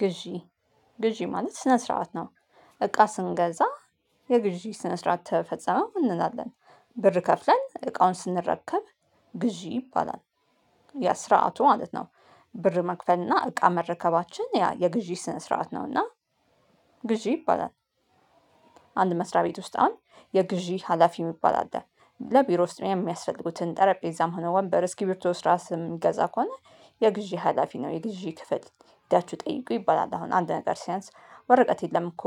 ግዢ ግዢ ማለት ስነ ስርዓት ነው። እቃ ስንገዛ የግዢ ስነ ስርዓት ተፈጸመ እንላለን ብር ከፍለን እቃውን ስንረከብ ግዢ ይባላል። ያ ስራአቱ ማለት ነው። ብር መክፈል እና እቃ መረከባችን ያ የግዢ ስነ ስርዓት ነው እና ግዢ ይባላል። አንድ መስሪያ ቤት ውስጥ አሁን የግዢ ሀላፊ የሚባል አለ ለቢሮ ውስጥ የሚያስፈልጉትን ጠረጴዛም ሆነ ወንበር እስኪቢርቶ እስራስ የሚገዛ ከሆነ የግዢ ሀላፊ ነው። የግዢ ክፍል ሄዳችሁ ጠይቁ ይባላል። አሁን አንድ ነገር ሲያንስ ወረቀት የለም እኮ።